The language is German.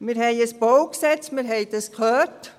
Wir haben ein Baugesetz (BauG), wir haben es gehört.